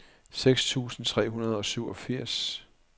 seks tusind tre hundrede og syvogfirs